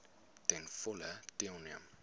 ten volle deelneem